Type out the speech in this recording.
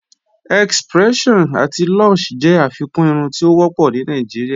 X-pression ati Lush jẹ afikún irùn ti o wọpọ̀ ni Nàìjíríà